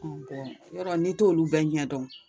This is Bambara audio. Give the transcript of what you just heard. yɔrɔ n'i t'olu bɛ ɲɛ dɔn